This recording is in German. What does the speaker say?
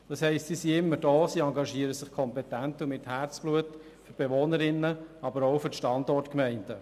Sie sind also immer da, sie engagieren sich kompetent und mit Herzblut für die Bewohnerinnen und Bewohner, aber auch für die Standortgemeinden.